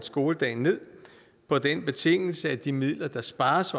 skoledagen på den betingelse at de midler der spares